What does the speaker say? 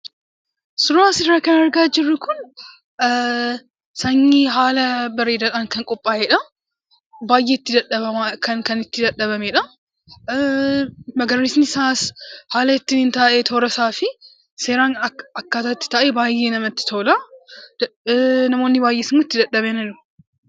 Suuraa asirraa kan argaa jirru kun, sanyii haala bareedaadhaan kan qophaa'edha. Baayyee kan itti dadhabamedha. magariisni isaas haala ittiin taa'e toora isaa fi seeraan akkaataan itti taa'e baayyee namatti tola. Namoonni baayyeenis itti dadhabaniiru.